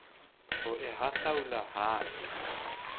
ho e hahlaula ha e